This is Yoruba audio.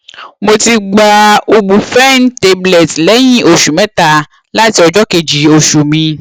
mo ti gba ubiphene tablet léyìn oṣù mẹta láti ọjọ kejì oṣù mi